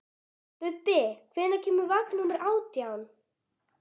Bubbi, hvenær kemur vagn númer átján?